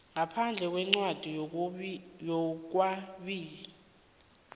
ngaphandle kwencwadi yokwabiwa